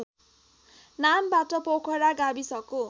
नामबाट पोखरा गाविसको